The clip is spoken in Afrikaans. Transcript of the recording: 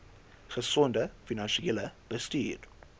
gesonde finansiële bestuur